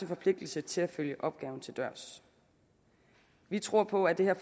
forpligtelse til at følge opgaven til dørs vi tror på at det